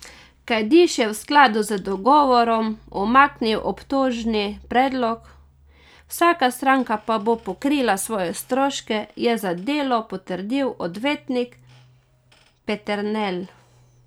Kajdiž je v skladu z dogovorom umaknil obtožni predlog, vsaka stranka pa bo pokrila svoje stroške, je za Delo potrdil odvetnik Peternelj.